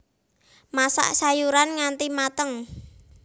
Masak sayuran nganti mateng